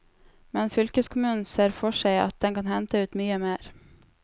Men fylkeskommunen ser for seg at den kan hente ut mye mer.